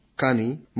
కానీ మనం